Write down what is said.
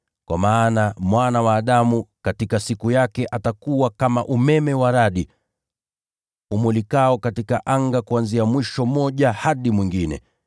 Kwa maana kama vile umeme wa radi umulikavyo katika anga kuanzia mwisho mmoja hadi mwingine, ndivyo atakavyokuwa Mwana wa Adamu katika siku yake.